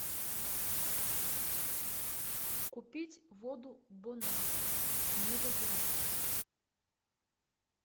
купить воду бон аква негазированную